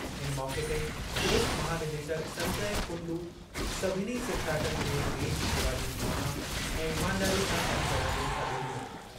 इन मौक़े ते पुलिस महानिदेशक संजय कुंडू सभिनी सेखिड़ाटनि खे देश शेवा जी भावना ऐं ईमानदारीअ सां कम करणु जो सॾु ॾिनो।